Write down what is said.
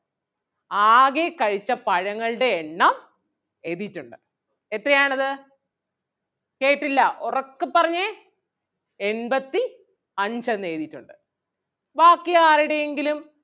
ആകെ കഴിച്ച പഴങ്ങളുടെ എണ്ണം എഴുതിയിട്ടുണ്ട് എത്രയാണത് കേട്ടില്ല ഒറക്കെ പറഞ്ഞേ എൺപത്തി അഞ്ചെന്നെഴുതിയിട്ടുണ്ട് ബാക്കി ആരടേങ്കിലും